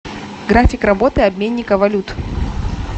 график работы обменника валют